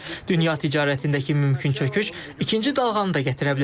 Dünya ticarətindəki mümkün çöküş ikinci dalğanı da gətirə bilər.